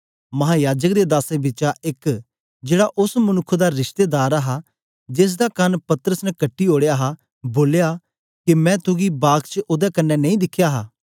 महायाजक दे दासें बिचा एक जेड़ा ओस मनुक्ख दा रिश्तेदार हा जेसदा कन पतरस ने कटी ओड़या हा बोलया के मैं तुगी बाग च ओदे कन्ने नेई दिखया हा